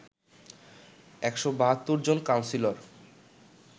১৭২ জন কাউন্সিলর